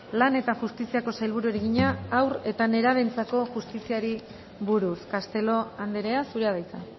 lan eta justiziako sailburuari egina haur eta nerabeentzako justiziari buruz castelo andrea zurea da hitza